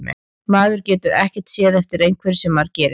Maður getur ekkert séð eftir einhverju sem maður gerir.